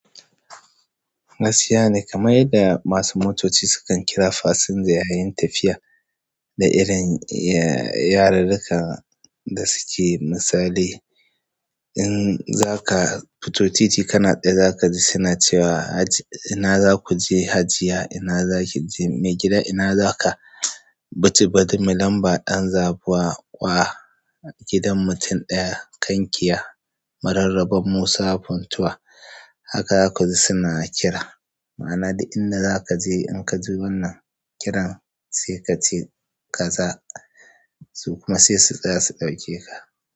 Gaskiya ne, kamar yadda masu motoci sukan kira fasinja yayin tafiya da irin, yarirrika da suke misali. In za ka fito titi, kana tsaye za ka ji suna cewa Haji, ina za ku je? Hajiya ina zaki je, mai gida ina zaka? Biti, bari mu lamba ɗan zabuwa wa gidan mutum ɗaya. Kankiya, mararrabar Musa Funtuwa. Haka za ku ji su na kira. Ma'ana, da inda za ka je, in ka ji wannan kiran, sai ka ce, ka za su kuma sai su tsaya su ɗauke ka.